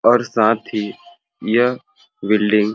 और साथ ही यह बिल्डिंग --